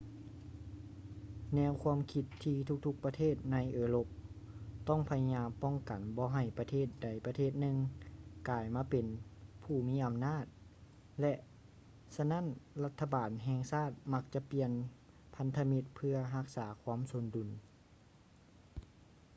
ແນວຄວາມຄິດທີ່ທຸກໆປະເທດໃນເອີຣົບຕ້ອງພະຍາຍາມປ້ອງກັນບໍ່ໃຫ້ປະເທດໃດປະເທດໜຶ່ງກາຍມາເປັນຜູ້ມີອຳນາດ ແລະ ສະນັ້ນລັດຖະບານແຫ່ງຊາດມັກຈະປ່ຽນພັນທະມິດເພື່ອຮັກສາຄວາມສົມດຸນ